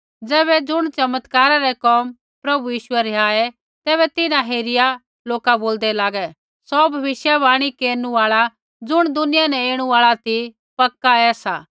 ज़ैबै ज़ुण चमत्कारा रै कोम प्रभु यीशुऐ रिहाऐ तैबै तिन्हां हेरिया लोका बोलदै लागे सौ भविष्यवाणी केरनु आल़ा ज़ुण दुनिया न ऐणु आल़ा ती पक्का ऐसा